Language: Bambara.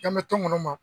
An bɛ to munu ma